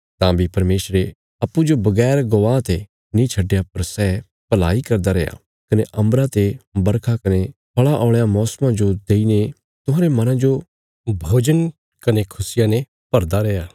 तां बी परमेशरे अप्पूँजो बगैर गवाह ते नीं छडया पर सै भलाई करदा रैया कने अम्बरा ते बरखा कने फल़ां औल़यां मौसमां जो देईने तुहांरे मना जो भोजन कने खुशिया ने भरदा रैया